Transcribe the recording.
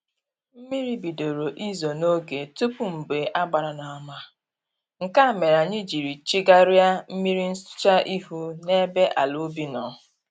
Mmiri bidoro izo n'oge tupu mgbe a gbara n'ama, nke a mere anyị jiri chegarịa mmiri nsụcha ihu n'ebe ala ubi nọ